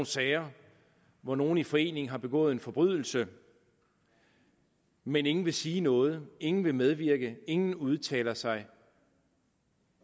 sager hvor nogle i forening har begået en forbrydelse men ingen vil sige noget ingen vil medvirke ingen vil udtale sig